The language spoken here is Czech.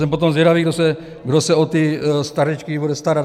Jsem potom zvědavý, kdo se o ty stařečky bude starat.